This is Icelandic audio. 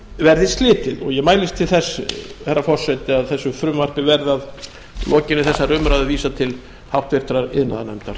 verði slitið ég mælist til þess herra forseti að þessu frumvarpi verði að lokinni þessari umræðu vísað til háttvirtrar iðnaðarnefndar